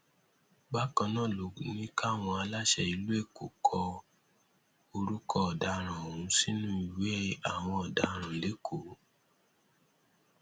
bákan náà ló ní káwọn aláṣẹ ìlú èkó kọ orúkọ ọdaràn ọhún sínú ìwé àwọn ọdaràn lẹkọọ